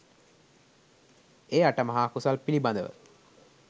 ඒ අටමහා කුසල් පිළිබඳව